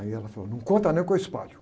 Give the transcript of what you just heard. Aí ela falou, não conta, não, que eu espalho.